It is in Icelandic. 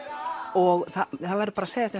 og það verður bara að segjast